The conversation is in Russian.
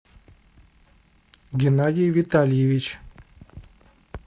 геннадий витальевич